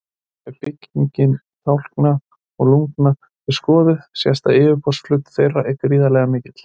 Ef bygging tálkna og lungna er skoðuð sést að yfirborðsflötur þeirra er gríðarlega mikill.